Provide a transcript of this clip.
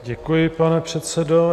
Děkuji, pane předsedo.